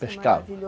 Pescavam